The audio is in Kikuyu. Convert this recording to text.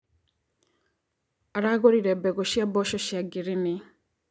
Aragũrire mbegũ cia mboco cia ngirini.